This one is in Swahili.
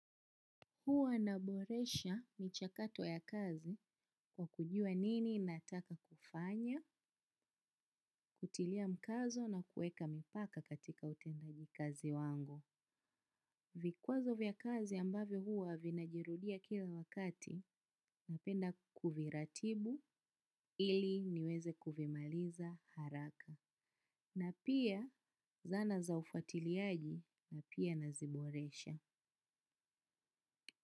Huwa naboresha michakato ya kazi kwa kujua nini nataka kufanya, kutilia mkazo na kueka mpaka katika utendaji kazi wangu. Vikwazo vya kazi ambavyo huwa vinajirudia kila wakati napenda kuviratibu ili niweze kuvimaliza haraka. Na pia zana za ufuatiliaji na pia naziboresha.